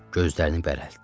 Gözlərini bərəltdi.